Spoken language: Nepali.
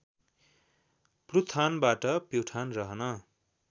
प्लुथानबाट प्युठान रहन